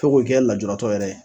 Fo ko kɛ lajuratɔ yɛrɛ ye.